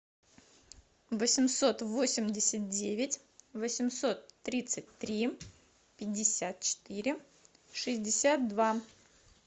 восемьсот восемьдесят девять восемьсот тридцать три пятьдесят четыре шестьдесят два